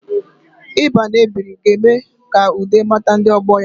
Ịba na-ebiri ga-eme ka Ude mata ndi ogbo ya